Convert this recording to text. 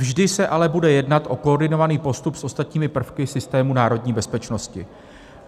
Vždy se ale bude jednat o koordinovaný postup s ostatními prvky systému národní bezpečnosti.